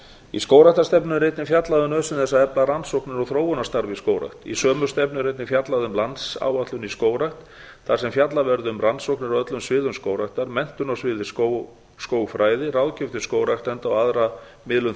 í skógræktarstefnunni er einnig fjallað um nauðsyn þess að efla rannsóknir og þróunarstarf í skógrækt í sömu stefnu er einnig fjallað um landsáætlun í skógrækt þar sem fjallað verði um a rannsóknir á öllum sviðum skógræktar b menntun á sviði skógfræði c ráðgjöf til skógræktenda og aðra miðlun